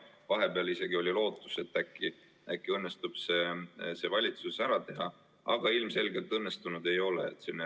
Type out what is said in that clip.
Vahepeal isegi oli lootus, et äkki õnnestub see valitsuses ära teha, aga ilmselgelt see õnnestunud ei ole.